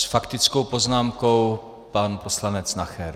S faktickou poznámkou pan poslanec Nacher.